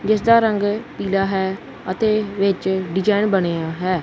ਜਿੱਸ ਦਾ ਰੰਗ ਪੀਲਾ ਹੈ ਅਤੇ ਵਿੱਚ ਡਿਜ਼ਾਈਨ ਬਣਿਆ ਹੈ।